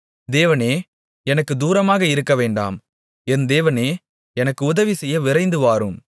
தேவனே எனக்குத் தூரமாக இருக்க வேண்டாம் என் தேவனே எனக்கு உதவிசெய்ய விரைந்து வாரும்